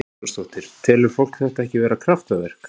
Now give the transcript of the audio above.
Karen Kjartansdóttir: Telur fólk þetta ekki vera kraftaverk?